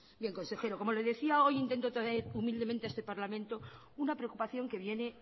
consejero como le decía hoy intento traer humildemente a este parlamento una preocupación que viene